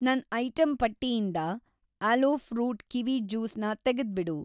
ನನ್‌ ಐಟಂ ಪಟ್ಟಿಯಿಂದ aloe fruit kiwi juice ನ ತೆಗೆದ್ಬಿಡು.